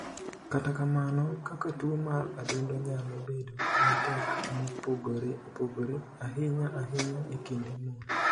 Kata kamano, kaka tuo mar adundo nyalo bedo matek mopogore opogore, ahinya ahinya e kind mon.